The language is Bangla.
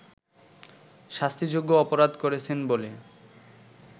শাস্তিযোগ্য অপরাধ করেছেন বলে